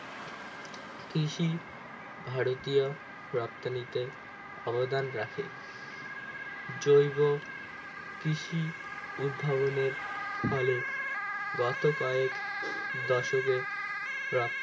কৃষি ভারতীয় রপ্তানিতে অবদান রাখে জৈব কৃষি উদ্ভাবনের ফলে গত কয়েক দশকের প্রাপ